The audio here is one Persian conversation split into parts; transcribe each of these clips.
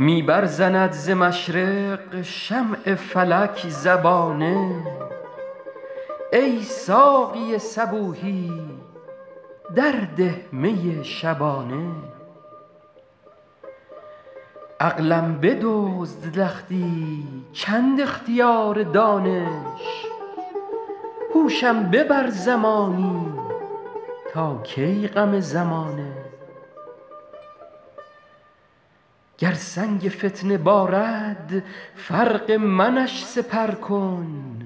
می برزند ز مشرق شمع فلک زبانه ای ساقی صبوحی در ده می شبانه عقلم بدزد لختی چند اختیار دانش هوشم ببر زمانی تا کی غم زمانه گر سنگ فتنه بارد فرق منش سپر کن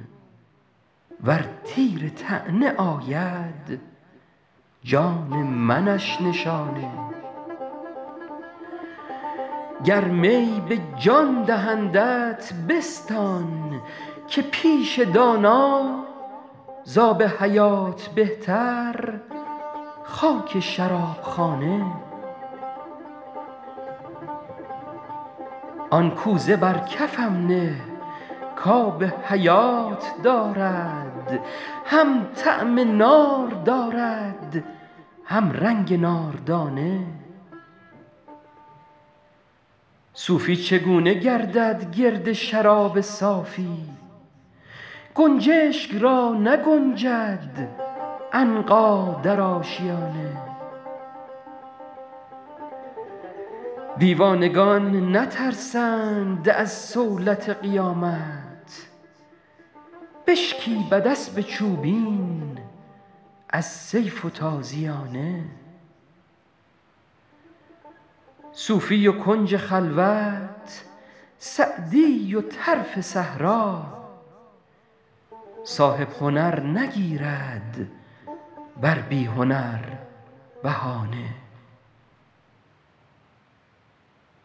ور تیر طعنه آید جان منش نشانه گر می به جان دهندت بستان که پیش دانا زآب حیات بهتر خاک شراب خانه آن کوزه بر کفم نه کآب حیات دارد هم طعم نار دارد هم رنگ ناردانه صوفی چگونه گردد گرد شراب صافی گنجشک را نگنجد عنقا در آشیانه دیوانگان نترسند از صولت قیامت بشکیبد اسب چوبین از سیف و تازیانه صوفی و کنج خلوت سعدی و طرف صحرا صاحب هنر نگیرد بر بی هنر بهانه